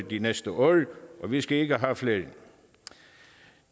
de næste år og vi skal ikke have flere det